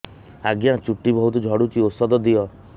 ଆଜ୍ଞା ଚୁଟି ବହୁତ୍ ଝଡୁଚି ଔଷଧ ଦିଅ